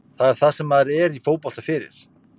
Þetta er það sem maður er í fótbolta fyrir.